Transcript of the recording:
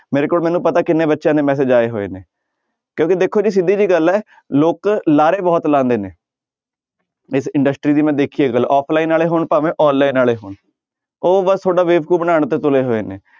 ਮੇਰੇ ਕੋਲ ਮੈਨੂੰ ਪਤਾ ਕਿੰਨੇ ਬੱਚਿਆਂ ਦੇ message ਆਏ ਹੋਏ ਨੇ ਕਿਉਂਕਿ ਦੇਖੋ ਜੀ ਸਿੱਧੀ ਜਿਹੀ ਗੱਲ ਹੈ ਲੋਕ ਲਾਰੇ ਬਹੁਤ ਲਾਉਂਦੇੇ ਨੇ ਇਸ industry ਦੀ ਮੈਂ ਦੇਖੀ ਹੈ ਗੱਲ offline ਵਾਲੇ ਹੋਣ ਭਾਵੇਂ online ਵਾਲੇ ਹੋਣ ਉਹ ਬਸ ਤੁਹਾਡਾ ਬੇਵਕੂਫ਼ ਬਣਾਉਣ ਤੇ ਤੁਲੇ ਹੋਏ ਨੇ।